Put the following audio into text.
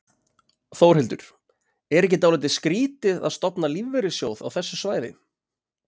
Þórhildur: Er ekki dálítið skrítið að stofna lífeyrissjóð á þessu svæði?